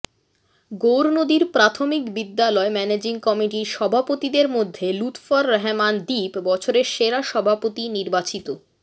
গৗরনদীর প্রাথমিক বিদ্যালয় ম্যানেজিং কমিটির সভাপতিদের মধ্যে লুৎফর রহমান দীপ বছরের সেরা সভাপতি নির্বাচিত